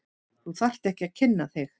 Þú þarft ekki að kynna þig.